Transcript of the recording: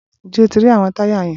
Ǹjẹ́ o ti rí àwọn táyà yẹn?